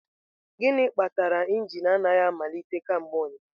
Gịnị kpatara injin anaghị amalite kemgbe ụnyaahụ?